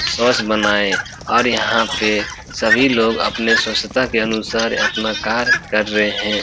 स्वच्छ बनाये और यहां पे सभी लोग अपनी स्वच्छता के अनुसार अपना कार्य कर रहे हैं।